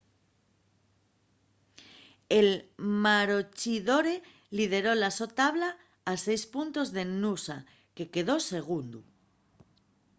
el maroochydore lideró la so tabla a seis puntos del noosa que quedó segundu